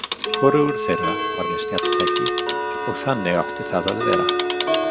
Hvorugur þeirra var með snjalltæki og þannig átti það að vera.